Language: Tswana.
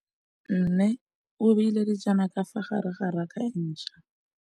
Mmê o beile dijana ka fa gare ga raka e ntšha.